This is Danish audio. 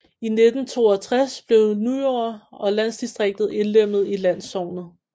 I 1962 blev Nyord og landdistriktet indlemmet i landsognet